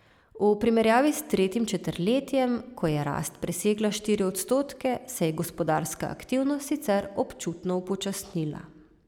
V primerjavi s tretjim četrtletjem, ko je rast presegla štiri odstotke, se je gospodarska aktivnost sicer občutno upočasnila.